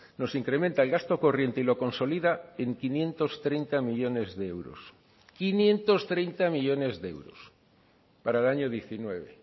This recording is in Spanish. nos incrementa el gasto corriente y lo consolida en quinientos treinta millónes de euros quinientos treinta millónes de euros para el año diecinueve